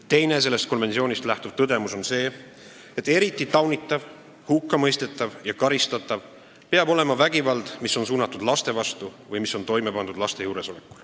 Teine sellest konventsioonist lähtuv tõdemus on see, et eriti taunitav, hukkamõistetav ja karistatav peab olema vägivald, mis on suunatud laste vastu või mis on toime pandud laste juuresolekul.